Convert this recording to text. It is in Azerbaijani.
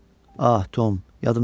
Ah, Tom, yadımdan çıxdı.